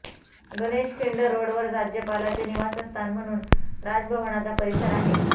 गणेश खिंड रोडवर राज्यपालाचे निवासस्थान म्हणून राजभवनाचा परिसर आहे